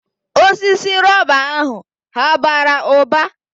Osisi rọba ahụ hà bara ụba?